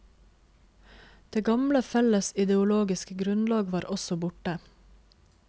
Det gamle felles ideologiske grunnlag var også borte.